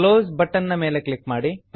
close close ನ ಮೇಲೆ click ಮಾಡಿ